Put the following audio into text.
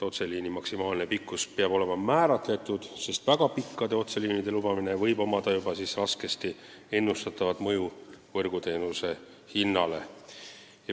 Otseliini maksimaalne pikkus peab olema määratletud, sest väga pikkade otseliinide lubamisel võib olla raskesti ennustatav mõju võrguteenuse hinnale.